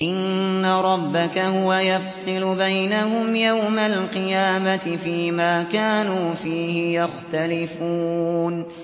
إِنَّ رَبَّكَ هُوَ يَفْصِلُ بَيْنَهُمْ يَوْمَ الْقِيَامَةِ فِيمَا كَانُوا فِيهِ يَخْتَلِفُونَ